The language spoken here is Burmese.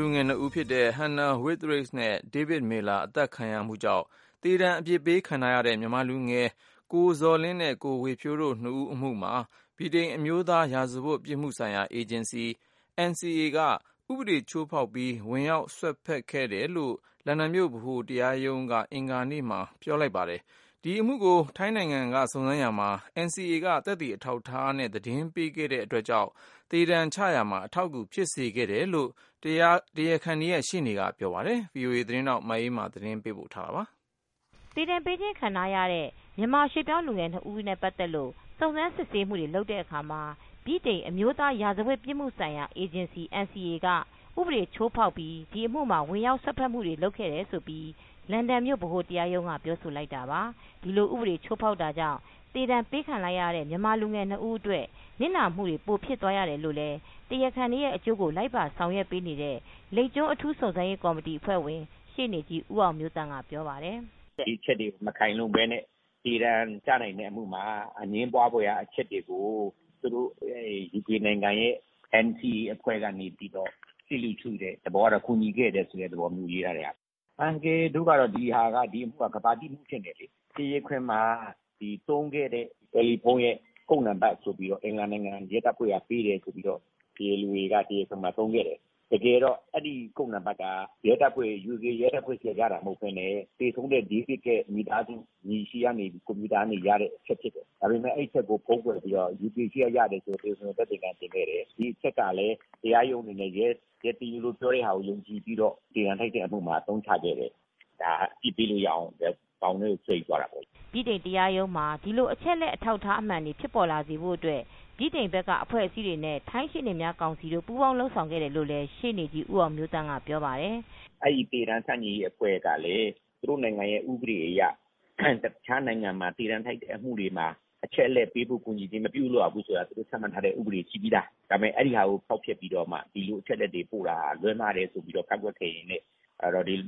လူငယ်၂ဦးဖြစ်တဲ့ Hannah Witheridge နဲ့ David Miller အသတ်ခံရမှုကြောင့် သေဒဏ် အပြစ်ပေးခံထားရတဲ့ မြန်မာလူငယ် ကိုဇော်လင်းနဲ့ ကိုဝင်းဇော်ထွန်းတို့ ၂ ဦးအမှုမှာ ဗြိတိန်အမျိုးသားရာဇဝတ်ပြစ်မှုဆိုင်ရာ အေဂျင်စီ(NCA)က ဥပဒေ ချိုးဖောက်ပြီး ဝင်ရောက်စွက်ဖက် ခဲ့တယ်လို့ လန်ဒန်မြို့ဗဟိုတရားရုံးက အင်္ဂါနေ့မှာပြောလိုက်ပါတယ်။ ဒီအမှုကို ထိုင်းနိုင်ငံက စုံစမ်းရာမှာ(NCA)က သက်သေအထောက် အထားတွေနဲ့ သတင်းပေးခဲ့တဲ့အတွက် သေဒဏ်ချမှတ်ရတဲ့အထိ ဆုံးဖြတ်ဖို့ ဖြစ်လာတာလို့ တရားခံတွေရဲ့ ရှေ့နေကပြောပါတယ်။ ဗွီအိုအေ သတင်းထောက် မအေးအေးမာက သတင်းပေးပို့ ထားပါတယ်။ သေဒဏ်ပေးခြင်း ခံထားရတဲ့ မြန်မာရွှေ့ပြောင်း လူငယ်၂ ဦးနဲ့ ပတ်သက်လို့စုံစမ်း စစ်ဆေးမူတွေ လုပ်တဲ့ အခါမှာ ဗြိတိန် အမျိုးသား ရာဇဝတ်ပြစ်မှုဆိုင်ရာ အေဂျင်စီ (NCA) က ဥပဒေချိုးဖောက်ပြီး ဒီအမူမှာ ဝင်ရောက် စွက်ဖက်မူတွေ လုပ်ခဲ့တယ်လို့ လန်ဒန်မြို့ ဗဟိုတရားရုံးက ပြောဆိုလိုက်ပါတယ်။ ဒီလို ဥပဒေ ချိုဖောက်တာကြောင့် သေဒဏ်ပေးခံ လိုက်ရတဲ့ မြန်မာလူငယ် ၂ ဦး အတွက် နစ်နာမူတွေ ပိုဖြစ် သွားရတယ်လို့ တရားခံတွေရဲ့ အကျိုးကို လိုက်ပါ ဆောင်ရွက်ပေးနေတဲ့ လိပ်ကျွန်း အထူးစုံစမ်းရေး ကော်မတီဝင် ရှေ့နေကြီး ဦးအောင်မျိုးသန့်က ပြောပါတယ်။ “ ဒီအချက်တွေ မခိုင်လုံဘဲနဲ့ သေဒဏ်ကျနိုင်တဲ့ အမှုမှာ အငြင်းပွားဖွယ်ရာ အချက်တွေကို သူတို့ အဲဒီ UK နိုင်ငံရဲ့NCA အဖွဲ့က နေပြီးတော့ လစ်လျူရှုတဲ့ သဘောကတော့ ကူညီခဲ့တယ် ဆိုတဲ့ သဘောမျိုး ရေးထားတဲ့ဟာ။ အန်ကယ်တို့ ကတော့ ဒီဟာက ဒီအမှုက ကမ္ဘာသိ အမှု ဖြစ်နေတယ်လေ။ ဒီတရားခွင်မှာ သုံးခဲ့တဲ့ တယ်လီဖုန်းရဲ့ ကုဒ်နံပတ် ဆိုပြီးတော့ အင်္ဂလန်နိုင်ငံ ရဲတပ်ဖွဲ့က ပေးတယ် ဆိုပြီးတော့ တရားလိုတွေက တရားခွင်မှာ သုံးခဲ့တယ်။ တကယ်တော့ အဲဒီ ကုဒ်နံပတ်က UK ရဲတပ်ဖွဲ့ ဆီက ရတာမဟုတ်ဘဲနဲ့ သေဆုံးတဲ့ David ရဲ့မိသားစု ညီဆီကနေပြီး ကွန်ပျူတာကနေ ရတဲ့ အချက် ဖြစ်တယ်။ ဒါပေမယ့် အဲဒီအချက်ကို ဖုံးကွယ်ပြီးတော့ UK ဆီကရတယ် ဆိုပြီးတော့ သက်သေခံ တင်ခဲ့တယ်။ ဒီအချက်ကလည်း တရားရုံးအနေနဲ့ တရားလို ပြောတဲ့ဟာကို ယုံကြည်ပြီးတော့ တင်လိုက်တဲ့ အမှုမှာ အသုံးချခဲ့တယ်။ ဒါက အပြစ်ပေးလို့ရအောင် ဘောင်ထဲကို ဆွဲယူသွားတာ ပေါ့လေ။” ဗြိတိန်တရားရုံးမှာ ဒီလို အချက်အလက် အထောက်အထား မှန်တွေ ဖြစ်ပေါ်လာစေဖို့ အတွက် ဗြိတိန် ဘက်က အဖွဲ့အစည်းတွေနဲ့ ထိုင်းရှေ့နေများ ကောင်စီတို့ ပူးပေါင်း လုပ်ဆောင်ခဲ့တယ် လို့လည်း ရှေ့နေကြီး ဦးအောင်မျိုးသန့်က ပြောပါတယ်။ “ အဲဒီ သေဒဏ်ဆန့်ကျင်ရေး အဖွဲ့ကလည်း သူတို့နိုင်ငံရဲ့ဥပဒေအရ တခြားနိုင်ငံမှာ သေဒဏ်ထိုက်တဲ့ အမှုတွေမှာ အချက်အလက် ပေးပို့ကူညီခြင်း မပြုလုပ်ရဘူးဆိုတာ သူတို့ ချမှတ်ထားတဲ့ ဥပဒေရှိပြီးသား။ ဒါပေမယ့် အဲဒီဟာကို ဖောက်ဖျက်ပြီးတော့မှ ဒီလို အချက်အလက်တွေ ပို့တာဟာ လွဲမှားတယ် ဆိုပြီးတော့ ကန့်ကွက်ခဲ့ရင်းနဲ့